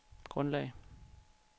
grundlag